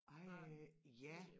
Ej ja